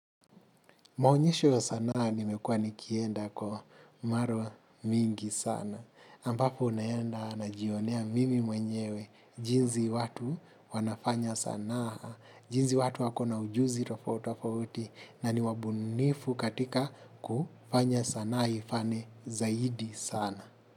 Maonyesho ya sanaa nimekua nikienda kwa marwa mingi sana. Ambapo naenda najionea mimi mwenyewe, jinsi watu wanafanya sanaa, jinsi watu wakona ujuzi tofauti tofauti na ni wabunifu katika kufanya sanaa ifane zaidi sana.